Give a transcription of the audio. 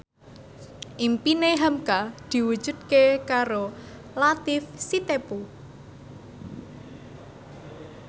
impine hamka diwujudke karo Latief Sitepu